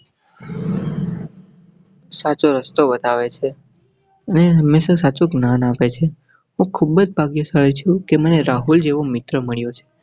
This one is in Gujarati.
સાચો રસ્તો બતાવે છે અને હંમેશા સાચું જ્ઞાન આપે છે. હું ખૂબ ભાગ્યશાળી છું કે મને રાહુલ જેવો મિત્ર મળ્યો છે.